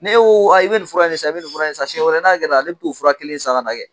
Ne ko a i bɛ nin fura in san i bɛ nin fura in san siɲɛ wɛrɛ n'a ale bɛ t'o fura kelen san kɛ